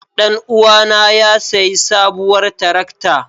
Ɗan uwana ya sayi sabuwar tarakta.